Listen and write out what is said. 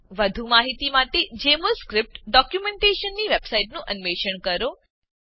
વધુ માહિતી માટે જેમોલ સ્ક્રીપ્ટ ડોક્યુંમેંટેશનની વેબસાઈટનું અન્વેષણ કરો